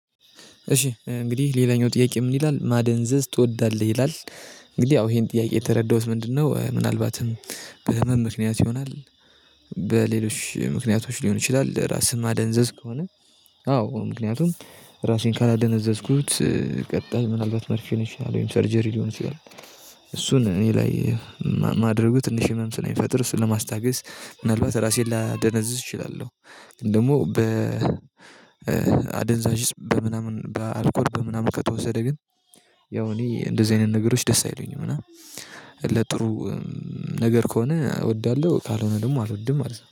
እሺ እንግዲህ ሌላኛው ጥያቄ ምን ይላል ማደንዘዝ ትወዳለህ ይላል? እንግዲህ ያው ይሄን ጥያቄ የተረዳሁት ምንድነው ምናልባትም በህመም ምክንያት ይሆናል። በሌሎች ምክንያቶች ሊሆን ይችላል ራስን ማደንዘዝ ከሆነ። አዎ ምክንያቱም ራሴን ካላደነዘዝኩት ቀጣይ ምናልባት መርፌ ነሽ ወይም ሰርጀሪ ሊሆን ይችላል። እሱን እኔ ላይ ማድረጉ ትንሽ ህመም ስለሚፈጥር ስለማስታገስ ምናልባት ራሴን ላደነዝዝ እችላለሁ። ደግሞ በ አደንዛዥ እፅ በምናምን በአልኮል በምናምን ከተወሰደ ግን። ያው እኔ እንደዚህ አይነት ነገሮች ደስ አይሉኝም እና። ለጥሩ ነገር ከሆነ እወዳለሁ ካልሆነ ደግሞ አልወድም ማለት ነው